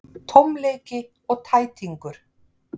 Tómleiki og tætingur.